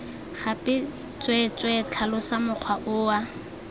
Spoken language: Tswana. gape tsweetswee tlhalosa mokgwa oo